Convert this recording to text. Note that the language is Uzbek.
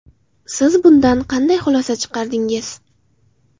Siz bundan qanday xulosa chiqardingiz?